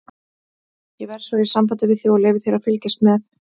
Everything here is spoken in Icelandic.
Ég verð svo í sambandi við þig og leyfi þér að fylgjast með.